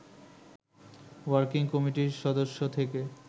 working কমিটির সদস্য থেকে